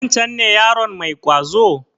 Wancen ne yaron mai ƙwazo?